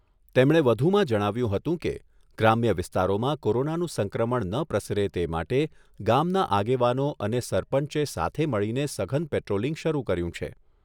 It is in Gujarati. તેમણે વધુમાં જણાવ્યુંં હતું કે, ગ્રામ્ય વિસ્તારોમાં કોરોનાનું સંક્રમણ ન પ્રસરે તે માટે ગામના આગેવાનો અને સરપંચે સાથે મળીને સઘન પેટ્રોલિંગ શરૂ કર્યું છે.